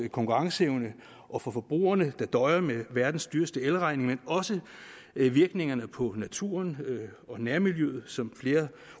konkurrenceevnen og for forbrugerne der døjer med verdens dyreste elregning men også virkningerne på naturen og nærmiljøet som flere